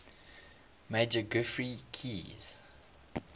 major geoffrey keyes